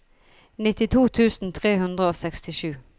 nittito tusen tre hundre og sekstisju